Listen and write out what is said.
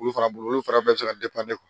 Olu fana bolo olu fana bɛ se ka